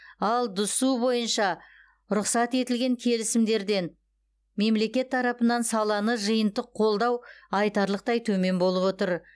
ал дсұ бойынша рұқсат етілген келісімдерден мемлекет тарапынан саланы жиынтық қолдау айтарлықтай төмен болып отыр